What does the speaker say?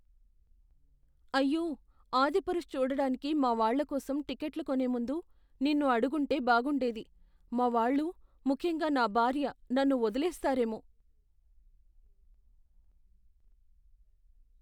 అయ్యో! "ఆదిపురుష్" చూడటానికి మా వాళ్ళ కోసం టిక్కెట్లు కొనే ముందు నిన్ను అడిగుంటే బాగుండేది. మా వాళ్ళు, ముఖ్యంగా నా భార్య నన్ను వదిలేస్తారెమో.